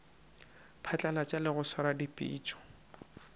phatlalatša le go swara dipitšo